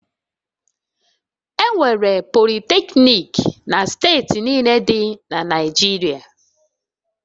Enwere Politecnik na steeti niile dị na Naịjirịa